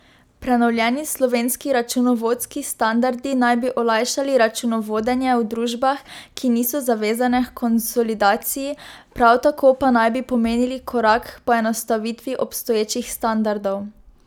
Prenovljeni slovenski računovodski standardi naj bi olajšali računovodenje v družbah, ki niso zavezane h konsolidaciji, prav tako pa naj bi pomenili korak h poenostavitvi obstoječih standardov.